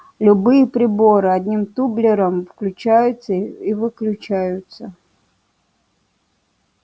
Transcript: любые приборы одним тумблером включаются и выключаются